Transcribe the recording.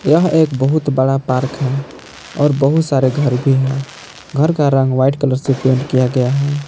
यह एक बहुत बड़ा पार्क है और बहुत सारे घर भी हैं घर का रंग व्हाइट कलर से पेंट किया गया है।